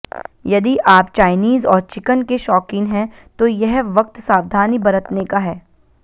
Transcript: यदि आप चायनीज और चिकन के शौकीन हैं तो यह वक्त सावधानी बरतने का है